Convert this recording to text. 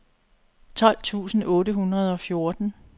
tolv tusind otte hundrede og fjorten